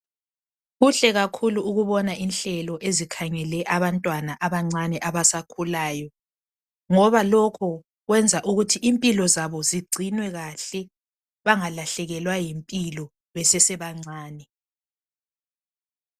Kuhle kakhulu ukubona inhlelo ezikhangele abantwana abancane abasakhulayo, ngoba lokho kwenza ukuthi impilo zabo zigcinwe kahle bangalahlekelwa yimpilo besesebancane.